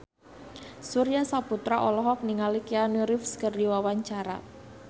Surya Saputra olohok ningali Keanu Reeves keur diwawancara